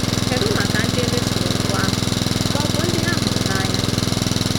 Kedụ maka ndị e mesoro mpụ ahụ ma ọ bụ ndị ha hụrụ n’anya?